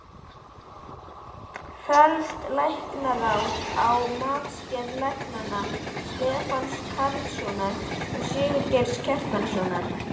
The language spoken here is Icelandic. Fellst Læknaráð á matsgerð læknanna Stefáns Carlssonar og Sigurgeirs Kjartanssonar?